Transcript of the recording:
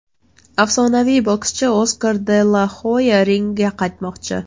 Afsonaviy bokschi Oskar de la Hoya ringga qaytmoqchi.